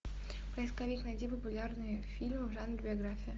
поисковик найди популярные фильмы в жанре биография